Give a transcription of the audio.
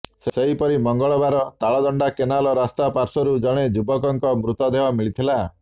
ସେହିପରି ମଙ୍ଗଳବାର ତାଳଦଣ୍ଡା କେନାଲ ରାସ୍ତା ପାର୍ଶ୍ୱରୁ ଜଣେ ଯୁବକଙ୍କ ମୃତଦେହ ମିଳିଥିଲା